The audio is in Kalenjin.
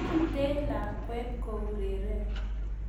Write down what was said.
Mete lakwet koureren.